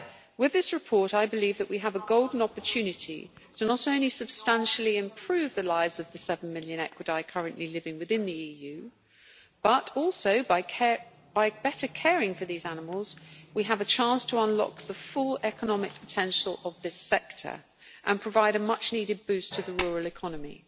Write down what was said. With this report I believe that we have a golden opportunity to not only substantially improve the lives of the seven million equidae currently living within the EU, but also by better caring for these animals we have a chance to unlock the full economic potential of this sector and provide a much needed boost to the rural economy.